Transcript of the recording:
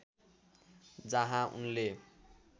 जहाँ उनले